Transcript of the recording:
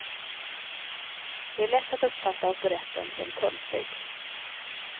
Det är lätt att uppfatta operetten som töntig.